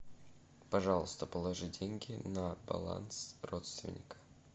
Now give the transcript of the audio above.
пожалуйста положи деньги на баланс родственника